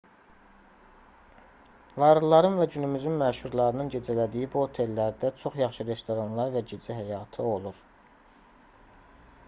varlıların və günümüzün məşhurlarının gecələdiyi bu otellərdə çox yaxşı restoranlar və gecə həyatı olur